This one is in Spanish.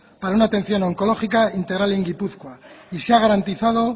para una atención oncológica integral en gipuzkoa y se ha garantizado